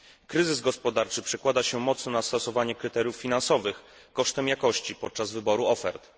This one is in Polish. Kryzys gospodarczy przekłada się mocno na stosowanie kryteriów finansowych kosztem jakości podczas wyboru ofert.